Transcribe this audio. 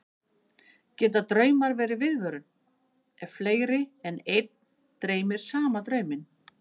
Geta draumar verið viðvörun, ef fleiri en einn dreymir sama drauminn?